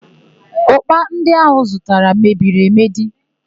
Ụ́kpà ndị áhụ̀ ọ zụtara mebiri emedi.